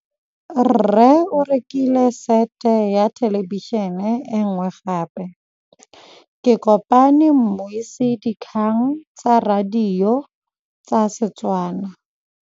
Rre o rekile sete ya thêlêbišênê e nngwe gape. Ke kopane mmuisi w dikgang tsa radio tsa Setswana.